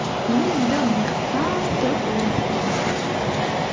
мұны мида мықтап тұрып орнықтыруымыз қажет